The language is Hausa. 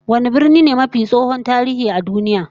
Wane birni ne mafi tsohon tarihi a duniya?